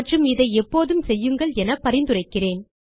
மற்றும் இதை எப்போதும் செய்யுங்கள் என பரிந்துரைக்கிறேன்